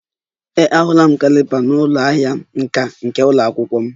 Ee, ahụla m caliper n'ụlọ ahịa nka nka nke ụlọ akwụkwọ m